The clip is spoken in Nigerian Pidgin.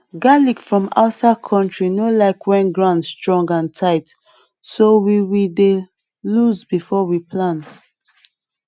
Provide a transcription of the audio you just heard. garlic from outside country no like when ground strong and tight so we we dey loose before we plant